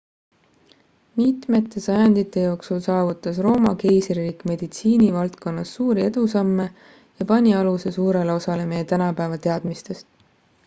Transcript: mitmete sajandite jooksul saavutas rooma keisririik meditsiini valdkonnas suuri edusamme ja pani aluse suurele osale meie tänapäeva teadmistest